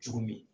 Cogo min